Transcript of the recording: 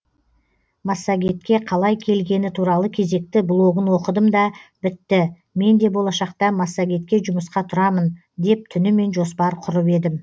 массагетке қалай келгені туралы кезекті блогын оқыдым да бітті менде болашақта массагетке жұмысқа тұрамын деп түнімен жоспар құрып едім